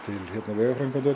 vegaframkvæmda